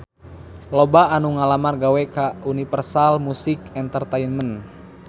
Loba anu ngalamar gawe ka Universal Music Entertainment